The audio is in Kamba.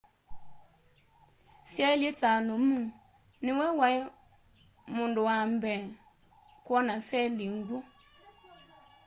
syailyi ta lumu nĩwe waĩ mundu wa mbee kwona seli ngwũ